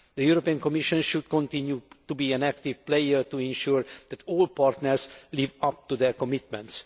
The European Commission should continue to be an active player to ensure that all partners live up to their commitments.